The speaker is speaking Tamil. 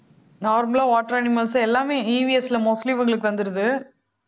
normal லா water animals எல்லாமே EVS ல mostly இவங்களுக்கு வந்திருது